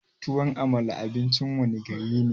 Tuwon amala abincin wanne gari ne?